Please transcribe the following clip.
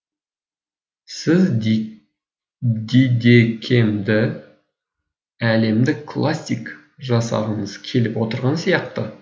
сіз дидекемді әлемдік классик жасағыңыз келіп отырған сияқты